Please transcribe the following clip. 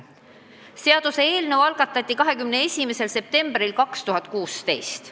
Seaduseelnõu algatati 21. septembril 2016.